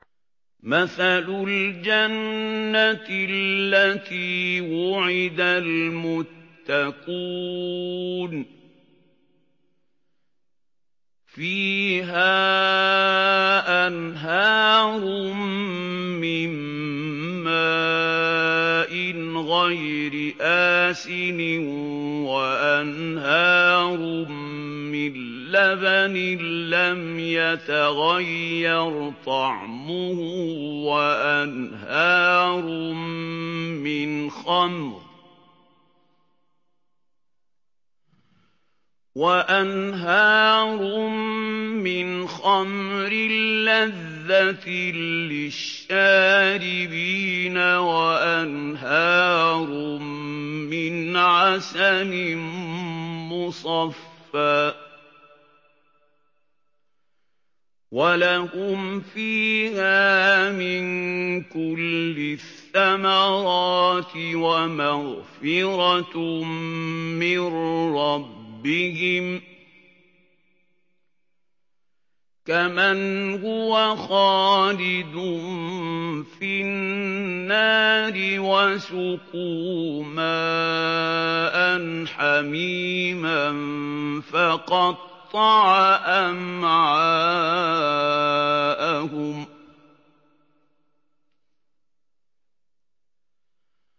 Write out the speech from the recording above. مَّثَلُ الْجَنَّةِ الَّتِي وُعِدَ الْمُتَّقُونَ ۖ فِيهَا أَنْهَارٌ مِّن مَّاءٍ غَيْرِ آسِنٍ وَأَنْهَارٌ مِّن لَّبَنٍ لَّمْ يَتَغَيَّرْ طَعْمُهُ وَأَنْهَارٌ مِّنْ خَمْرٍ لَّذَّةٍ لِّلشَّارِبِينَ وَأَنْهَارٌ مِّنْ عَسَلٍ مُّصَفًّى ۖ وَلَهُمْ فِيهَا مِن كُلِّ الثَّمَرَاتِ وَمَغْفِرَةٌ مِّن رَّبِّهِمْ ۖ كَمَنْ هُوَ خَالِدٌ فِي النَّارِ وَسُقُوا مَاءً حَمِيمًا فَقَطَّعَ أَمْعَاءَهُمْ